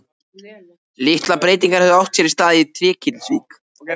Litlar breytingar höfðu átt sér stað í Trékyllisvík frá því